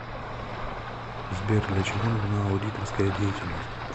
сбер для чего нужна аудиторская деятельность